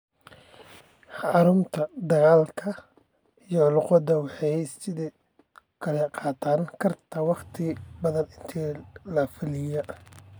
Horumarinta hadalka iyo luqadda waxay sidoo kale qaadan kartaa waqti ka badan intii la filayay.